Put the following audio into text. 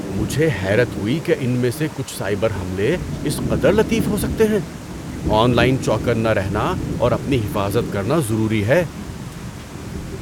مجھے حیرت ہوئی کہ ان میں سے کچھ سائبر حملے اس قدر لطیف ہو سکتے ہیں۔ آن لائن چوکننا رہنا اور اپنی حفاظت کرنا ضروری ہے۔